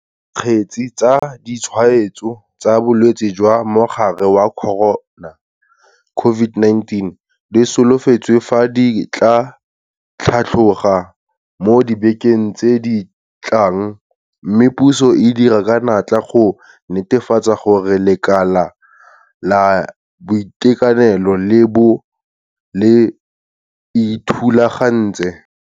Dikgetse tsa ditshwaetso tsa bolwetse jwa mogare wa corona, COVID-19, di solofetswe fa di tla tlhatloga mo dibekeng tse di tlang mme puso e dira ka natla go netefatsa gore lekala la boitekanelo le bo le ithulagantse.